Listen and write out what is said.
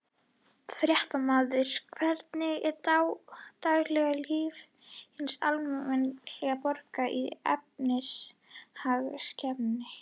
Fréttamaður: Hvernig er daglegt líf hins almenna borgara í efnahagskreppunni?